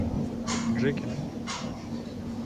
джеки